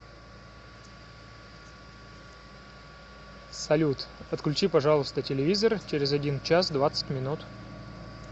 салют отключи пожалуйста телевизор через один час двадцать минут